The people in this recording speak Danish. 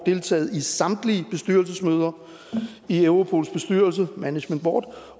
deltaget i samtlige bestyrelsesmøder i europols bestyrelse management board